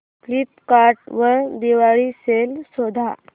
Flipkart वर Diwali sale शोधा